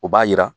O b'a jira